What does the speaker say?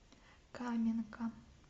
каменка